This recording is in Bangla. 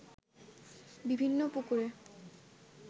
বিভিন্ন পুকুরে